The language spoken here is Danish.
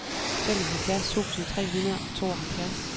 femoghalvfjerds tusind tre hundrede og tooghalvfjerds